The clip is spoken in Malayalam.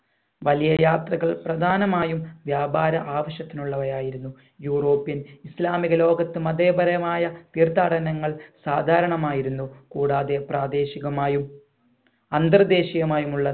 വലിയ യാത്രകൾ പ്രധാനമായും വ്യാപാര ആവശ്യത്തിനുള്ളവയായിരുന്നു european ഇസ്ലാമിക ലോകത്ത് മതേപരമായ തീർത്ഥാടനങ്ങൾ സാധാരണമായിരുന്നു കൂടാതെ പ്രാദേശികമായും അന്ധർദേശികമായും ഉള്ള